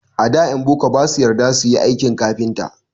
A da ƴan boko ba su yarda su yi aikin kafinta.